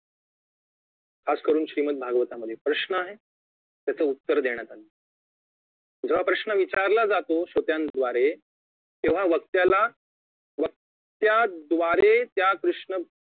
खासकरुन श्रीमत भागवता मध्ये प्रश्न आहे त्याच उत्तर देण्यात आलं आहे जेव्हा प्रश्न विचारला जातो श्रोत्यांद्वारे तेव्हा व्यक्त्याला व्यक्त्यांद्वारे त्या कृष्ण